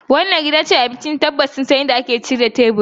Wannan gidan cin abinci tabbas sun san yadda zasu shirya teburi